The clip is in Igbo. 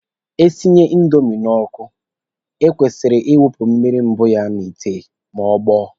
E sinye indomi n'ọkụ, e kwesịrị ị wụpụ mmiri mbụ ya n'ite ma ọ gbọọ.